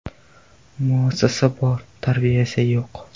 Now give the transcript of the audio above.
Muassasa bor, tarbiya esa yo‘q.